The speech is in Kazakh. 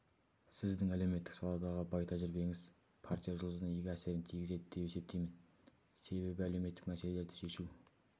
сіздің әлеуметтік саладағы бай тәжірибеңіз партия жұмысына игі әсерін тигізеді деп есептеймін себебі әлеуметтік мәселелерді шешу